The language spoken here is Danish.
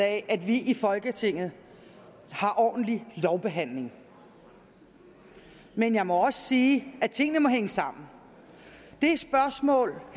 af at vi i folketinget har ordentlig lovbehandling men jeg må også sige at tingene må hænge sammen det spørgsmål